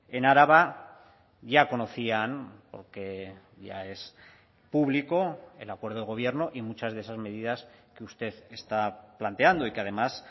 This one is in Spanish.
en araba ya conocían porque ya es público el acuerdo de gobierno y muchas de esas medidas que usted está planteando y que además